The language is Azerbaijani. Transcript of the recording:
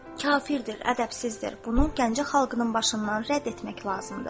“Kafiridir, ədəbsizdir, bunu Gəncə xalqının başından rədd etmək lazımdır.”